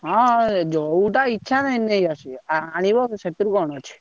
ହଁ ଯୋଉଟା ଇଚ୍ଛା ନେଇଆସିବ ଆଣିବ ସେଥିରେ କଣ ଅଛି।